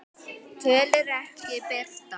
Tölur ekki birtar